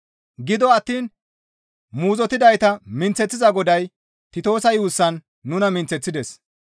Gido attiin muuzottidayta minththeththiza Goday Titoosa yuussan nuna minththeththides.